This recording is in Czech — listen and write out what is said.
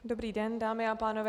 Dobrý den, dámy a pánové.